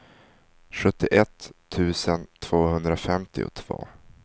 sjuttioett tusen tvåhundrafemtiotvå